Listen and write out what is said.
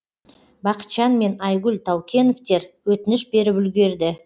бақытжан мен айгүл таукеновтер өтініш беріп үлгерді